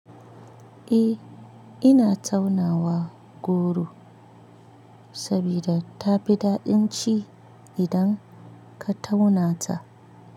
Eh ina taunawa goro sabida tafi daɗin ci idan ka tauna ta.